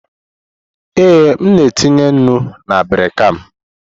Ee, m na etinye nnu na abirika m.